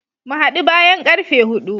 Mu hadu bayan karfe hudu.